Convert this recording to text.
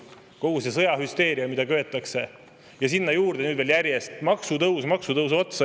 Kogu see sõjahüsteeria, mida köetakse, ja sinna juurde nüüd veel järjest maksutõus maksutõusu otsa!